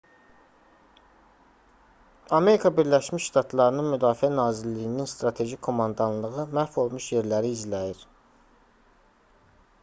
amerika birləşmiş ştatlarının müdafiə nazirliyinin strateji komandanlığı məhv olmuş yerləri izləyir